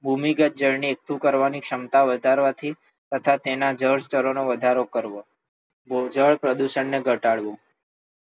ભૂમિગત જળને એકઠું કરવાની ક્ષમતાઓ વધારવાથી તથા તેના જળ સ્થળોનો વધારો કરવો મુકજળ પ્રદૂષણને ઘટાડવું.